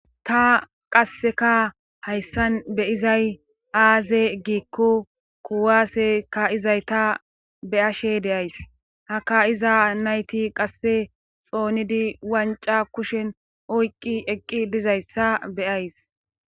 ta qasseka hayssan be'izay aaze giikko kuwase ka'iza nayta beyashe deyays haka iza nayti qasse xoonidi wanca kushen oyqqi eqqi dizayssa beyays